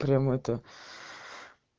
прям это